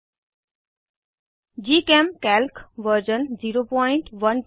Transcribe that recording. GChemCalc version 01210